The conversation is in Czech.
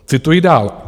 Cituji dál.